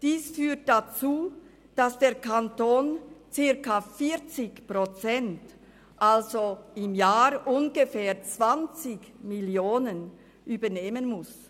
Dies führt dazu, dass der Kanton circa 40 Prozent, also im Jahr ungefähr 20 Mio. Franken übernehmen muss.